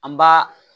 An b'a